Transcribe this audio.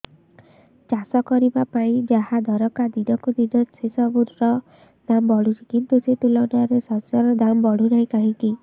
ଚାଷ କରିବା ପାଇଁ ଯାହା ଦରକାର ଦିନକୁ ଦିନ ସେସବୁ ର ଦାମ୍ ବଢୁଛି କିନ୍ତୁ ସେ ତୁଳନାରେ ଶସ୍ୟର ଦାମ୍ ବଢୁନାହିଁ କାହିଁକି